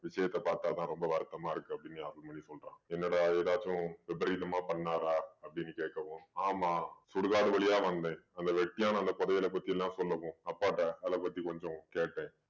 விஷயத்த பாத்தா தான் ரொம்ப வருத்தமா இருக்கு அப்படீன்னு அருள்மொழி சொல்றான். என்னடா ஏதாச்சும் விபரீதமா பண்ணாரா அப்படீன்னு கேட்கவும் ஆமாம் சுடுகாடு வழியா வந்தேன். அந்த வெட்டியான அந்த புதையல பத்தி எல்லாம் சொல்லவும் அப்பா கிட்ட அதை பத்தி கொஞ்சம் கேட்டேன்.